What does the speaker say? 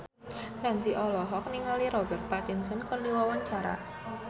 Ramzy olohok ningali Robert Pattinson keur diwawancara